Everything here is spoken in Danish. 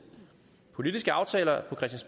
politiske aftaler